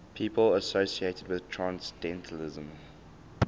people associated with transcendentalism